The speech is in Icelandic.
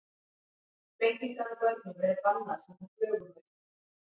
Flengingar á börnum eru bannaðar samkvæmt lögum á Íslandi.